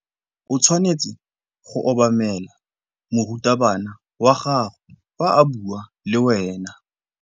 O tshwanetse go obamela morutabana wa gago fa a bua le wena.